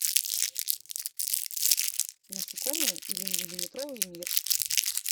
насекомые или миллиметровый мир